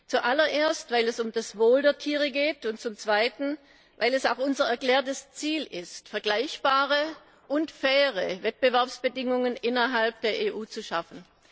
Zuallererst, weil es um das Wohl der Tiere geht, und zum Zweiten, weil es auch unser erklärtes Ziel ist, vergleichbare und faire Wettbewerbsbedingungen innerhalb der EU zu schaffen.